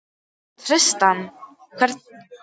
Tristana, hver er dagsetningin í dag?